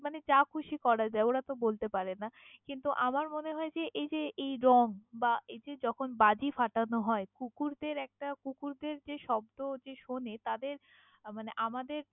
মানে যা খুশি তা করা যায় ওরা তহ বলতে পারে না, কিন্তু আমার মনে হয় এই যে এই রঙ বা এই যে যখন বাজি ফাটানো হয় কুকুর দের একটা কুকুরদের যে শব্ধ যে শোনে তাদের মানে আমাদের।